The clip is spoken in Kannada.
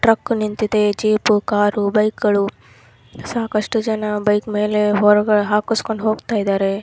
ಟ್ರಕ್ ನಿಂತಿದೆ ಜೀಪು ಕಾರು ಬೈಕ್ ಗಳು ಸಾಕಷ್ಟು ಜನ ಬೈಕ್ ಮೇಲೆ ಹೊರ್ಗ್ ಹಾಕಿಸ್ಕೊಂಡ್ ಹೋಗ್ತಾ ಇದಾರೆ.